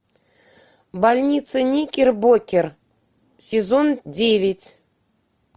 больница никербокер сезон девять